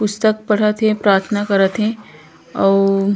पुस्तक पढ़त हे प्राथना करत हे अउ--